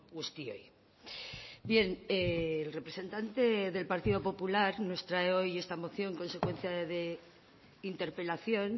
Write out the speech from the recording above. guztioi bien el representante del partido popular nos trae hoy esta moción consecuencia de interpelación